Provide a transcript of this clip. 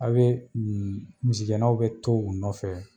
A be misigɛnaw be to u nɔfɛ